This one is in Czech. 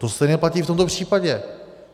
To stejné platí v tomto případě.